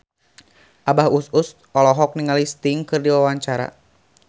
Abah Us Us olohok ningali Sting keur diwawancara